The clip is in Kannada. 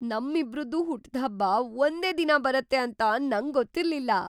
ನಮ್ಮಿಬ್ರದ್ದೂ ಹುಟ್ಟ್‌ಹಬ್ಬ ಒಂದೇ ದಿನ ಬರತ್ತೆ ಅಂತ ನಂಗೊತ್ತಿರ್ಲಿಲ್ಲ!